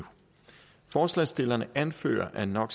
forslagsstillerne anfører at no